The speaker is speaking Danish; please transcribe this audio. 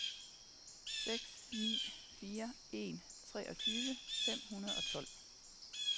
seks ni fire en treogtyve fem hundrede og tolv